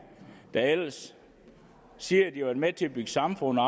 der ellers siger at de vil være med til at bygge samfundet